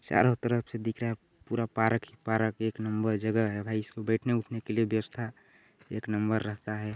चारों तरफ से दिख रहा पूरा पार्क ही पार्क एक नंबर जगह है भाई इसमें बैठने-उठने के लिए व्यवस्था एक नंबर रहता है।